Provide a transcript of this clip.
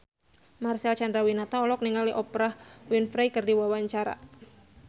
Marcel Chandrawinata olohok ningali Oprah Winfrey keur diwawancara